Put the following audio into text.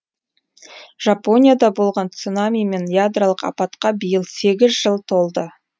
жапонияда болған цунами мен ядролық апатқа биыл сегіз жыл толды